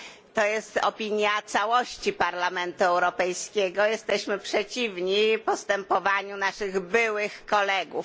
To jest opinia całości Parlamentu Europejskiego. Jesteśmy przeciwni postępowaniu naszych byłych kolegów.